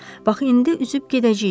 Bax indi üzüb gedəcəyik.